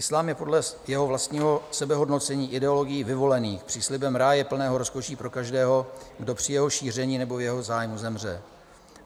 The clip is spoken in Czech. Islám je podle jeho vlastního sebehodnocení ideologií vyvolených s příslibem ráje plného rozkoší pro každého, kdo při jeho šíření nebo v jeho zájmu zemře.